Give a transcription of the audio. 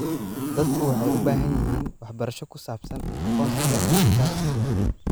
Dadku waxay u baahan yihiin waxbarasho ku saabsan aqoonsiga dhijitaalka ah.